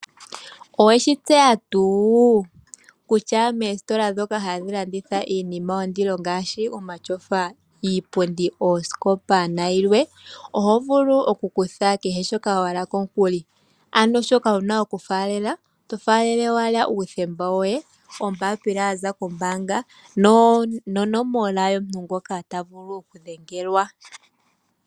Oweshi tseya tuu kutya moositola moka hamu landithwa iinima yondilo ngaashi omatyofa, iipundi, oosikopa nayilwe oto vulu okukutha kehe shoka wa hala komukuli? Shoka wu na okufaalela:uuthemba woye, ombaapila ya za kombaanga nonomola yomuntu ngoka ta vulu okudhengelwa.